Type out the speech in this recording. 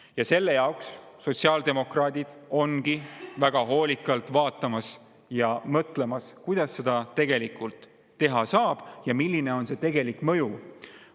Ja selle jaoks sotsiaaldemokraadid vaatavadki ja mõtlevadki, kuidas seda tegelikult teha saaks ja milline oleks tegelik mõju.